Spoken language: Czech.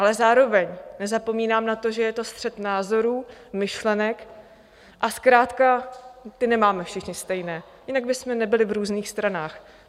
Ale zároveň nezapomínám na to, že je to střet názorů, myšlenek a zkrátka ty nemáme všichni stejné, jinak bychom nebyli v různých stranách.